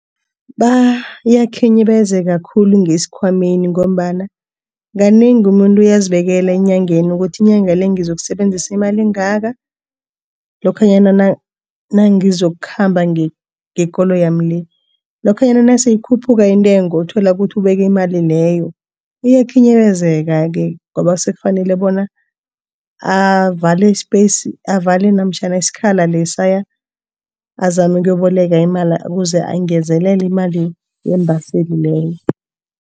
Bayakhinyabezeka khulu ngesikhwameni ngombana kanengi umuntu uyazibekela eenyangeni ukuthi inyanga le ngizokusebenzisa imali engaka lokhanyana nangizokukhamba ngekoloyami le. Lokhanyana nase ikhuphuka intengo uthola ukuthi ubeke imali leyo iyakhinyabezeka-ke ngoba sekufanele bona avale i-space avale namtjhana isikhala lesaya azame ukuboleka imali ukuze angezelele imali yeembaseli leyo.